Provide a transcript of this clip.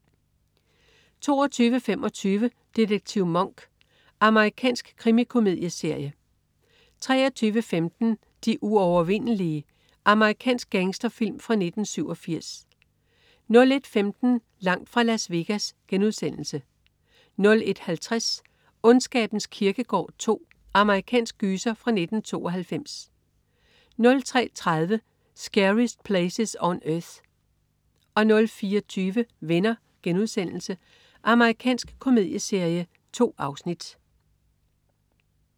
22.25 Detektiv Monk. Amerikansk krimikomedieserie 23.15 De uovervindelige. Amerikansk gangsterfilm fra 1987 01.15 Langt fra Las Vegas* 01.50 Ondskabens kirkegård 2. Amerikansk gyser fra 1992 03.30 Scariest Places on Earth 04.20 Venner.* Amerikansk komedieserie. 2 afsnit